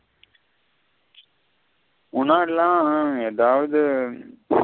முன்னாடிள்ள எதாவது.